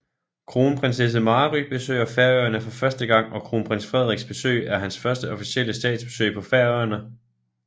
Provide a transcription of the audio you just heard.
Kronprinsesse Mary besøger Færøerne for første gang og kronprins Frederiks besøg er hans første officielle statsbesøg på Færøerne